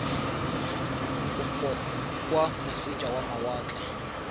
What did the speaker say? kopo kwa moseja wa mawatle